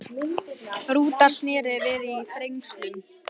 Rúta snéri við í Þrengslum